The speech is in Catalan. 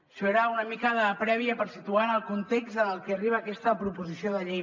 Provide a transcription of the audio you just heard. això era una mica de prèvia per situar el context en el que arriba aquesta proposició de llei